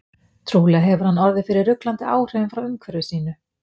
Trúlega hefur hann orðið fyrir ruglandi áhrifum frá umhverfi sínu.